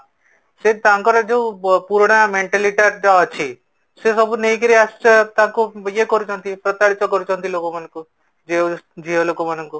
ସେ ତାଙ୍କର ଯୋଉ ପୁରୁଣା mentality ଟା ଅଛି ସେ ସବୁ ନେଇକି ତାଙ୍କୁ ୟେ କରୁଛନ୍ତି ପ୍ରତାରିତ କରୁଛନ୍ତି ଲୋକ ମାନଙ୍କୁ ଝିଅ ଲୋକ ମାନଙ୍କୁ